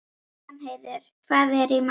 Danheiður, hvað er í matinn?